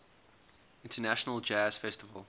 international jazz festival